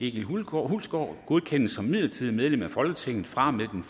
egil hulgaard godkendes som midlertidigt medlem af folketinget fra og med den